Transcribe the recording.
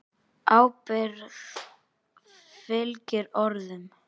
Ábyrgð fylgir orðum.